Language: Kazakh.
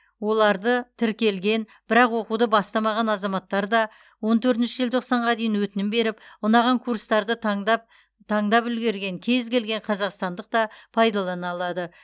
оларды тіркелген бірақ оқуды бастамаған азаматтар да он төртінші желтоқсанға дейін өтінім беріп ұнаған курстарды таңдап таңдап үлгерген кез келген қазақстандық та пайдалана алады